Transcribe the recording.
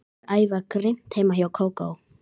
Þau æfa grimmt heima hjá Kókó.